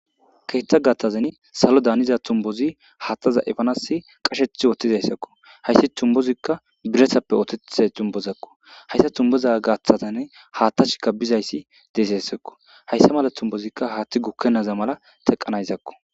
keeththa gathazan salo daaniza tumbozi haattaza efanasi qasheth ootizayssakko hayssi tumbozikka biresappe ootea tumbozakku hayssa tumboza gaaththazane haattashika bizayssi deeseyssakko hayssa mala tumbozikka haaththi gukkennaza mala teqqanayzakko